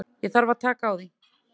Ég þarf að taka því.